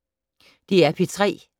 DR P3